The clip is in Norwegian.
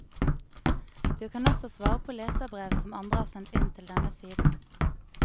Du kan også svare på leserbrev som andre har sendt inn til denne siden.